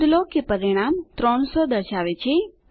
નોંધ લો કે પરિણામ 300 દર્શાવે છે